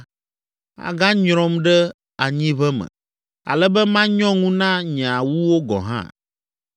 aganyrɔm ɖe anyiʋe me, ale be manyɔ ŋu na nye awuwo gɔ̃ hã.